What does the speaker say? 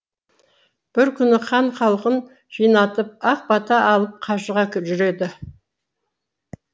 бір күні хан халқын жинатып ақ бата алып қажыға жүреді